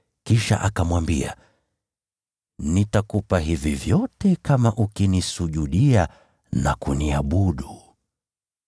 kisha akamwambia, “Nitakupa hivi vyote kama ukinisujudia na kuniabudu.”